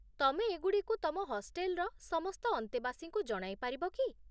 ତମେ ଏଗୁଡ଼ିକୁ ତମ ହଷ୍ଟେଲ୍ର ସମସ୍ତ ଅନ୍ତେବାସୀଙ୍କୁ ଜଣାଇ ପାରିବ କି?